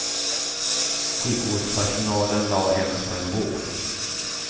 Sjukvårdpersonalen lade henne på en bår.